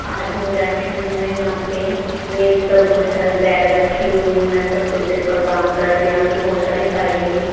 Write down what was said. आदमी बैठे हुए हैं यहां पे मेज पे बहुत सारे बैग रखे हुए वे कंप्यूटर पे काम कर रहे हैं यहां पे बहुत सारी फाइलें भी --